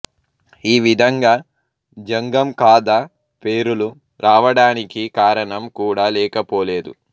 ఈ విధంగా జంగం కాథ పేరులు రావడానికి కారణం కూడా లేక పోలేదు